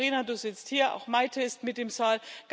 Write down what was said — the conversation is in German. Liebe Caterina, du sitzt hier, auch Maite ist mit im Saal.